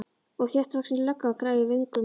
Og þéttvaxin lögga, grá í vöngum.